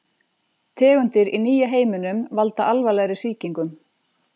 Tegundir í nýja heiminum valda alvarlegri sýkingum.